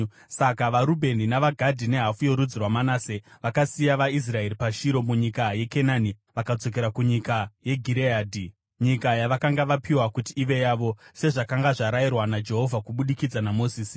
Saka vaRubheni, vaGadhi nehafu yorudzi rwaManase vakasiya vaIsraeri paShiro munyika yeKenani vakadzokera kunyika yeGireadhi, nyika yavakanga vapiwa kuti ive yavo, sezvakanga zvarayirwa naJehovha kubudikidza naMozisi.